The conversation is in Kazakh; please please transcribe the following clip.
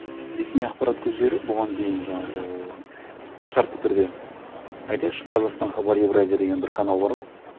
ресми ақпарат көздері бұған дейін жаңағы шартты түрде айтайықшы қазақстан хабар евразия деген бір канал бар ғой